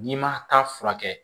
N'i ma taa furakɛ